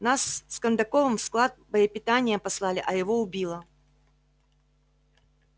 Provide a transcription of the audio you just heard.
нас с кондаковым в склад боепитания послали а его убило